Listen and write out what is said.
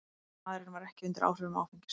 Maðurinn var ekki undir áhrifum áfengis